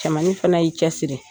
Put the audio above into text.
Cɛmannin fana y'i cɛ siri.